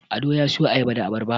Ado ya siyo Ayaba da Abarba